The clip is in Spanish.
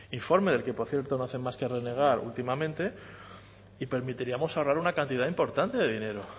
informe del que por cierto no hacen más que renegar últimamente y permitiríamos ahorrar una cantidad importante de dinero